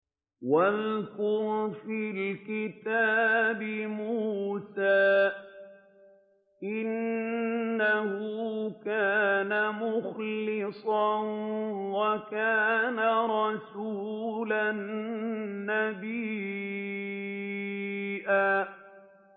وَاذْكُرْ فِي الْكِتَابِ مُوسَىٰ ۚ إِنَّهُ كَانَ مُخْلَصًا وَكَانَ رَسُولًا نَّبِيًّا